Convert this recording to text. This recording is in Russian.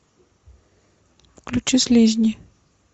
включи слизни